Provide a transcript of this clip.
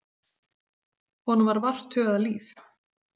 Honum var vart hugað líf.